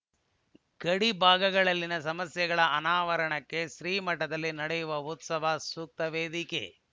ಗಡಿ ಭಾಗದಲ್ಲಿನ ಸಮಸ್ಯೆಗಳ ಅನಾವರಣಕ್ಕೆ ಶ್ರೀಮಠದಲ್ಲಿ ನಡೆಯುವ ಉತ್ಸವ ಸೂಕ್ತ ವೇದಿಕೆ